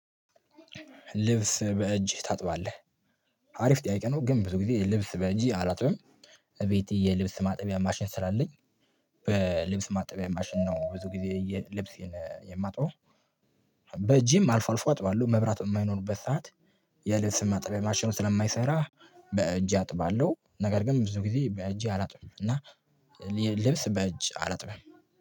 ልብስ በእጅህ ታጥባለህ አሪፍ ጥያቄ ነው። ግን ብዙ ጊዜ ልብስ በእጄ አላጥብም እቤቴ የልብስ ማጠቢያ ማሽን ስላለኝ በልብስ ማጠቢያ ማሽን ነው ብዙ ጊዜ የ ልብሴን የማጥበው በእጄም አልፎ አልፎ አጥባለሁ። መብራት በማይኖርበት ሰዓት የልብስ ማጠቢያ ማሸኑ ስለማይሰራ በእጄ አጥባለሁ ነገር ግን ብዙ ጊዜ በእጄ አላጥብም እና ልብስ በእጅ አላጥብም።